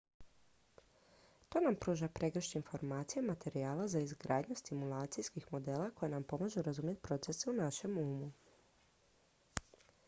to nam pruža pregršt informacija i materijala za izgradnju simulacijskih modela koji nam pomažu razumjeti procese u našem umu